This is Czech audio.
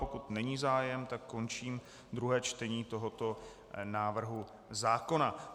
Pokud není zájem, tak končím druhé čtení tohoto návrhu zákona.